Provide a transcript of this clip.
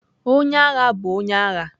Onye agha bụ onye agha.